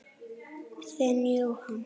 Þinn, Jóhann.